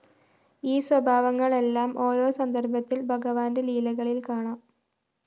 ഈ സ്വഭാവങ്ങളെല്ലാം ഓരോ സന്ദര്‍ഭത്തില്‍ ഭഗവാന്റെ ലീലകളില്‍ കാണാം